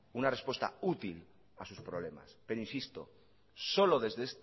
una respuesta útil a sus problemas pero insisto solo desde